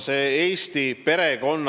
See teema on Eesti perekond.